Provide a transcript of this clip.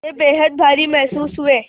वे बेहद भारी महसूस हुए